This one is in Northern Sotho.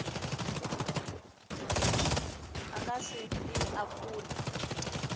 a ka se e apole